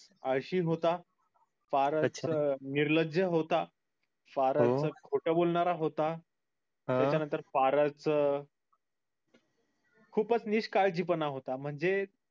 आळशी होता फारच निर्लज्य होता फारच खोटा बोलणारा होता हा त्याच्या नंतर फारच खूपच निष्काळजी होता म्हणजे